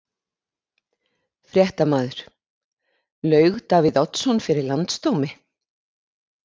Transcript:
Fréttamaður: Laug Davíð Oddsson fyrir landsdómi?